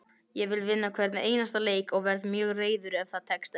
Ég vil vinna hvern einasta leik og verð mjög reiður ef það tekst ekki.